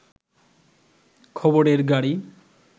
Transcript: খবরের গাড়ি